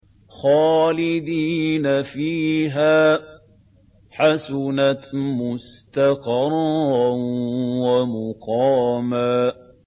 خَالِدِينَ فِيهَا ۚ حَسُنَتْ مُسْتَقَرًّا وَمُقَامًا